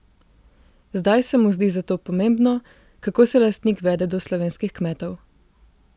Zdaj se mu zdi zato pomembno, kako se lastnik vede do slovenskih kmetov.